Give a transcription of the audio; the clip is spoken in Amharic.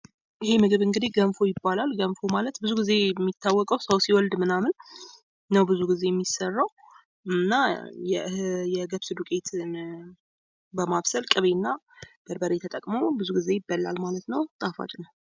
ይህ ምግብ እንግዲህ ገንፎ ይባላል። ገንፎ ብዙ ጊዜ የሚያወቀው ሰው ሲወልድ ምናምን ነው ብዙ ጊዜ የሚስራው እና የገብስን ዲቄት በማብሰል ቅቤ እና በርበሬ ተጠቅሞ ብዙ ግዜ ይበላል ማለት ነው። ጣፋጭም ነው።